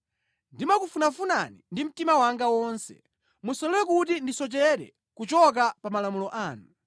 Ndimakufunafunani ndi mtima wanga wonse; musalole kuti ndisochere kuchoka pa malamulo anu.